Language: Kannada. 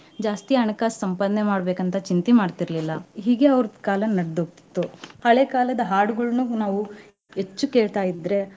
ಜಾಸ್ತಿ ಹಣಕಾಸ್ ಸಂಪಾದನೆ ಮಾಡ್ಬೇಕ್ ಅಂತಾ ಚಿಂತಿ ಮಾಡ್ತಿರ್ಲಿಲ್ಲಾ ಹೀಗೆ ಅವ್ರ ಕಾಲಾ ನಡ್ದು ಹೋಗ್ತಿತ್ತು. ಹಳೆ ಕಾಲದ ಹಾಡುಗಳನ್ನು ನಾವು ಹೆಚ್ಚು ಕೇಳ್ತಾಯಿದ್ರೆ.